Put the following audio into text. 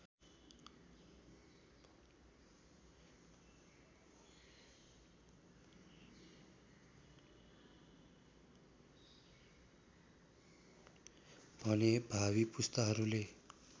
भने भावी पुस्ताहरूले